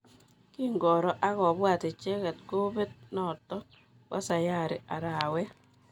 Kingoro akopwat icheket kopet notok pa sayari arawet.